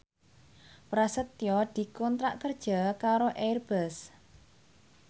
Prasetyo dikontrak kerja karo Airbus